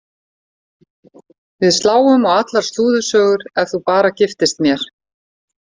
Við sláum á allar slúðursögur ef þú bara giftist mér.